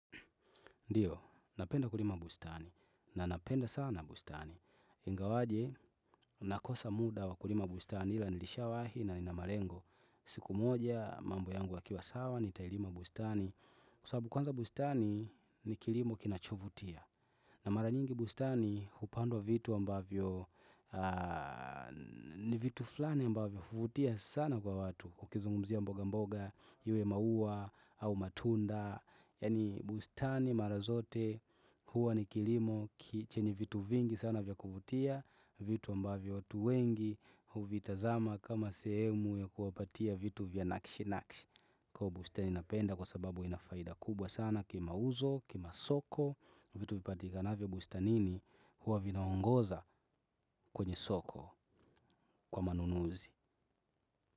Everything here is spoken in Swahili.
Ndio, napenda kulima bustani. Na napenda sana bustani. Ingawaje, nakosa muda wa kulima bustani ila nilisha wahi na nina malengo. Siku moja, mambo yangu yakiwa sawa, nitailima bustani. Kwa sababu kwanza bustani, ni kilimo kinachovutia. Na maranyingi bustani, hupandwa vitu ambavyo, ni vitu fulani ambavyo, huvutia sana kwa watu. Ukizungmzia mboga mboga iwe maua au matunda. Yaani bustani mara zote huwa ni kilimo chenye vitu vingi sana vya kuvutia. Vitu ambavyo watu wengi huvitazama kama sehemu ya kuwapatia vitu vya nakshi nakshi. Kwa hivyo bustani napenda kwa sababu inafaida kubwa sana kimauzo, kimasoko. Vitu vipatikanavyo bustanini huwa vinaongoza kwenye soko kwa manunuzi.